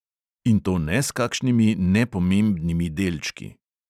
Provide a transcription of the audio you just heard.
In to ne s kakšnimi nepomembnimi delčki.